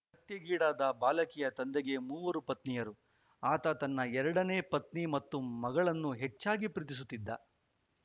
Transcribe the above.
ಹತ್ಯೆಗೀಡಾದ ಬಾಲಕಿಯ ತಂದೆಗೆ ಮೂವರು ಪತ್ನಿಯರು ಆತ ತನ್ನ ಎರಡನೇ ಪತ್ನಿ ಮತ್ತು ಮಗಳನ್ನು ಹೆಚ್ಚಾಗಿ ಪ್ರೀತಿಸುತ್ತಿದ್ದ